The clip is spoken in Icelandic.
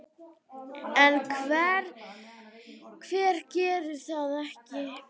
En hver gerði það ekki?